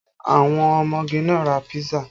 Àwọn ọmọge náà ra písà